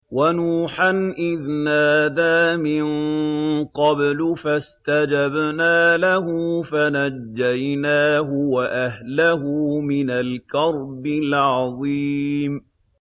وَنُوحًا إِذْ نَادَىٰ مِن قَبْلُ فَاسْتَجَبْنَا لَهُ فَنَجَّيْنَاهُ وَأَهْلَهُ مِنَ الْكَرْبِ الْعَظِيمِ